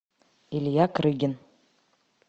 илья крыгин